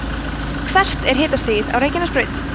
hvert er hitastigið á reykjanesbraut